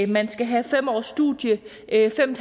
man skal have fem års studier eller fem